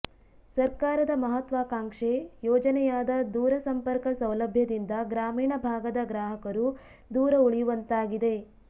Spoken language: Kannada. ಸರ್ಕಾರದ ಮಹತ್ವಾಕಾಂಕ್ಷೆ ಯೋಜನೆಯಾದ ದೂರ ಸಂಪರ್ಕ ಸೌಲಭ್ಯದಿಂದ ಗ್ರಾಮೀಣ ಭಾಗದ ಗ್ರಾಹಕರು ದೂರ ಉಳಿಯುವಂತಾಗಿದೆ